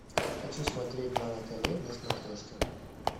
хочу смотреть нано тв на смотрешке